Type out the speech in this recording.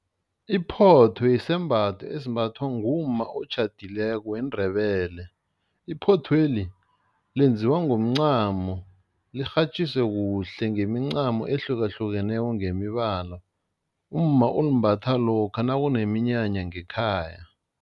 Iphotho yisembatho esimbathwa ngumma otjhadileko weNdebele, iphothweli lenziwa ngomncamo, lirhatjiswe kuhle ngemincamo ehlukahlukeneko ngemibala, umma ulimbatha lokha nakuneminyanya ngekhaya.